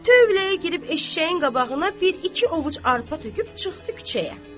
Tövləyə girib eşşəyin qabağına bir-iki ovuc arpa töküb çıxdı küçəyə.